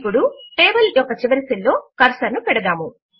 ఇప్పుడు టేబుల్ యొక్క చివరి సెల్ లో కర్సర్ ను పెడదాము